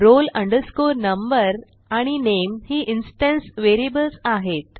roll number आणि नामे ही इन्स्टन्स व्हेरिएबल्स आहेत